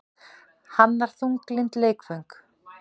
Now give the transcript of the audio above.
Hannar þunglynd leikföng